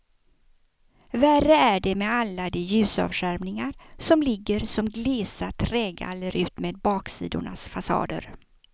Värre är det med alla de ljusavskärmningar som ligger som glesa trägaller utmed baksidornas fasader.